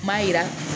N b'a jira